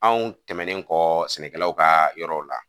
Anw tɛmɛnen kɔ sɛnɛkɛlaw ka yɔrɔw la